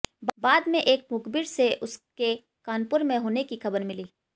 बाद में एक मुखबिर से उसके कानपुर में होने की खबर मिली